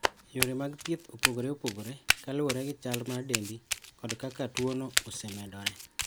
Yore mag thieth opogore opogore, kaluwore gi chal mar dendi kod kaka tuwono osemedore.